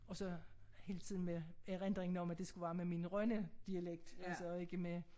Og så hele tiden med erindringen om at det skulle være med min Rønne dialekt altså og ikke med